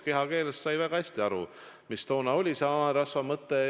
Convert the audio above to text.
Kehakeelest sai väga hästi aru, mida tookord selle hanerasvaga mõeldud oli.